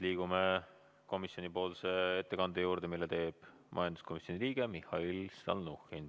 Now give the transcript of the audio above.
Liigume komisjoni ettekande juurde, mille teeb majanduskomisjoni liige Mihhail Stalnuhhin.